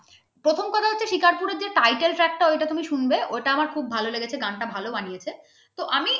ওর যে title track তা ঐটা তুমি শুনবে ঐটা আমার খুব ভালো লেগেছে গানটা ভালো বানিয়েছে তো আমি